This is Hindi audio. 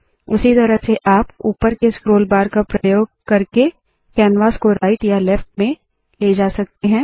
उसी तरह से आप ऊपर के स्क्रोल बार का प्रयोग करके कैनवास को राईट या लेफ्ट में ले जा सकते है